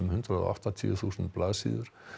hundrað og áttatíu þúsund blaðsíður